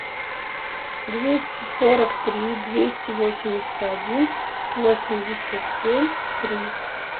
двести сорок три двести восемьдесят один восемьдесят семь три